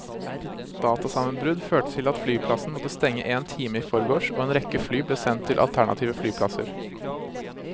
Datasammenbrudd førte til at flyplassen måtte stenge en time i forgårs, og en rekke fly ble sendt til alternative flyplasser.